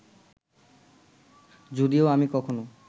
যদিও আমি কখনো